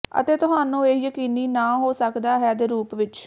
ਅਤੇ ਤੁਹਾਨੂੰ ਇਹ ਯਕੀਨੀ ਨਾ ਹੋ ਸਕਦਾ ਹੈ ਦੇ ਰੂਪ ਵਿੱਚ